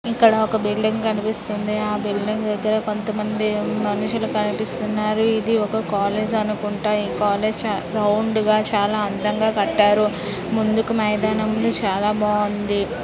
ఇక్కడ ఒక బిల్డింగ్ కనిపిస్తుంది ఆ బిల్డింగ్ దగ్గర కొంతమంది మనుషులు కనిపిస్తున్నారు ఇది ఒక కాలేజ్ అనుకుంటా ఈ కళాశా గ్రౌండ్ గా చాలా అందంగా కట్టారు ముందుకు మైదానం ఉంది చాలా బాగుంది.